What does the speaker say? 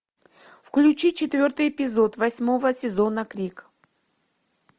включи четвертый эпизод восьмого сезона крик